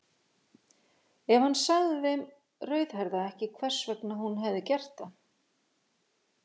En hann sagði þeim rauðhærða ekki hvers vegna hún hefði gert það.